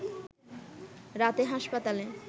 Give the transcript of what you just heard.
রাতে হাসপাতালে